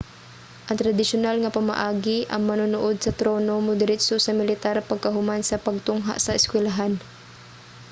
sa tradisyunal nga pamaagi ang manununod sa trono modiretso sa militar pagkahuman sa pagtungha sa eskwelahan